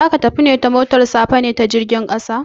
Za ka tafi ta motar safa ne ko ta jirgin ƙasa?